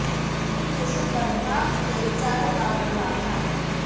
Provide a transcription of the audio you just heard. इन देशों पर मार्क्स के विचारों का प्रभाव था